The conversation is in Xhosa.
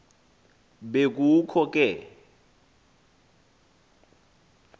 be kukho ke